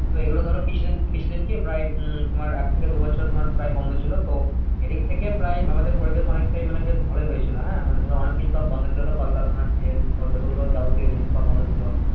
তবে এগুলো ধরো কিছুদিন কিছুদিনকে প্রায় উম তোমার এক থেকে দু বছর তোমার প্রায় বন্ধ ছিল। তো এদিক থেকে প্রায় আমাদের পরিবেশ অনেকটাই মানে বেশ ভালোই হয়েছিল, হ্যাঁ? মানে ধরো অনেককিছু সব বন্ধ ছিল তো কলকারখানা, ট্রেন, যতগুলো যাবতীয় জিনিস সব বন্ধ ছিল।